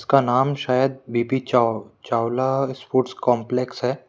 उसका नाम शायद बी_पी चाव चावला स्पोर्ट्स कॉम्प्लेक्स है।